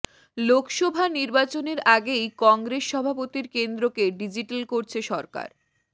লোকসভা নির্বাচনের আগেই কংগ্রেস সভাপতির কেন্দ্রকে ডিজিটাল করছে সরকার